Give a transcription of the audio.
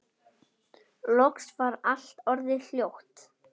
Loks var allt orðið hljótt.